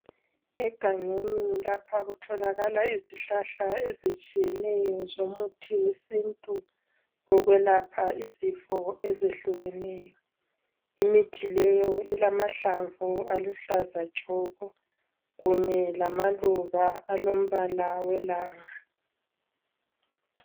Egangeni lapha kutholakala izihlahla ezitshiyeneyo zomuthi wesintu wokwelapha izifo ezehlukeneyo. Imithi leyo ilamahlamvu aluhlaza tshoko kunye lamaluba alombala welanga.